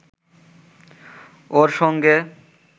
ওর সঙ্গে